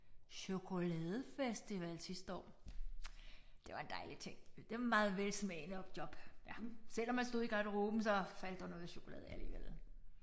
Chokoladefestival sidste år. Det var en dejlig ting. Meget velsmagende job ja selvom man stod i garderoben så faldt der noget chokolade af alligevel